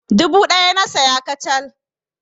Dubu ɗaya na saya kacal.